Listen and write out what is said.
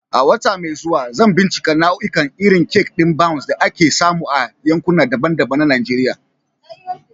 A wata mai zuwa, zan bincika nau'ikan irin kek ɗin Bounce da ake samu a yankuna daban-daban na Najeriya.